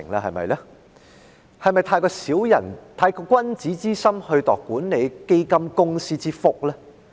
是否過於以君子之心來度管理基金公司之腹呢？